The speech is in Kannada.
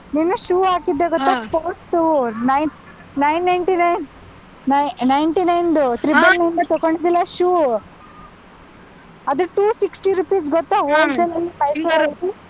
ನಿನ್ನೆ shoe ಹಾಕಿದ್ದೆ sports shoe, nine nine ninety-nine, ni~ ninety-nine ದು number ದು ತಕೊಂಡಿದ್ದಿಯಲ್ಲಾ shoe , ಅದು two sixty rupees ಗೊತ್ತಾ